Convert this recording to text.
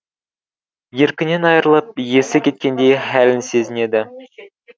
еркінен айрылып есі кеткендей хәлін сезінеді